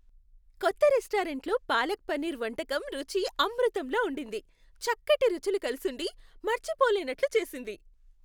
కొత్త రెస్టారెంట్లో పాలక్ పన్నీర్ వంటకం రుచి అమృతంలా ఉండింది, చక్కటి రుచులు కలిసుండి మర్చిపోలేనట్లు చేసింది.